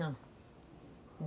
Não.